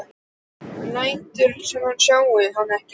Hann lætur sem hann sjái hana ekki.